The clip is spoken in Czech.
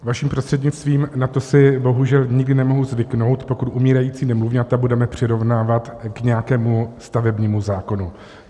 Vaším prostřednictvím, na to si bohužel nikdy nemohu zvyknout, pokud umírající nemluvňata budeme přirovnávat k nějakému stavebnímu zákonu.